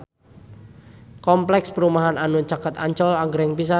Kompleks perumahan anu caket Ancol agreng pisan